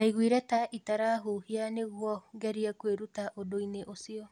Ndaiguire ta itarahuhia nĩguo ngerie kuĩruta ũndũ-inĩ ũcio